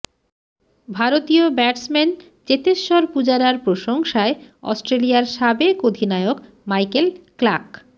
ভারতীয় ব্যাটসম্যান চেতেশ্বর পূজারার প্রশংসায় অস্ট্রেলিয়ার সাবেক অধিনায়ক মাইকেল ক্লাক